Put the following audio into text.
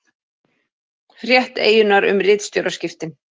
Frétt Eyjunnar um ritstjóraskiptin